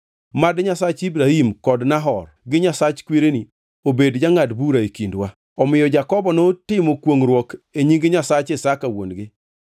Mad Nyasach Ibrahim, kod Nahor, gi Nyasach kwereni obed jangʼad bura e kindwa.” Omiyo Jakobo notimo kwongʼruok e nying Nyasach Isaka wuon-gi.